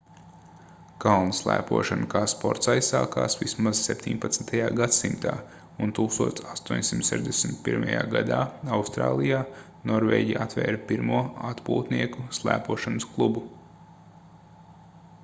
kalnu slēpošana kā sports aizsākās vismaz 17. gadsimtā un 1861. gadā austrālijā norvēģi atvēra pirmo atpūtnieku slēpošanas klubu